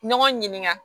Ɲɔgɔn ɲininka